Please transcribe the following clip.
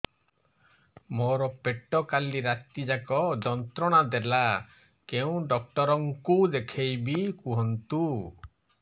ମୋର ପେଟ କାଲି ରାତି ଯାକ ଯନ୍ତ୍ରଣା ଦେଲା କେଉଁ ଡକ୍ଟର ଙ୍କୁ ଦେଖାଇବି କୁହନ୍ତ